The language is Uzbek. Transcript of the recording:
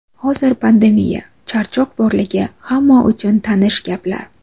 Hozir pandemiya, charchoq borligi hamma uchun tanish gaplar.